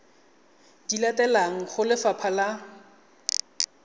di latelang go lefapha la